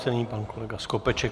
Nyní pan kolega Skopeček.